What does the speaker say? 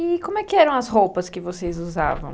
E como é que eram as roupas que vocês usavam?